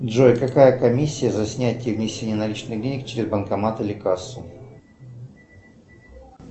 джой какая комиссия за снятие и внесение наличных денег через банкомат или кассу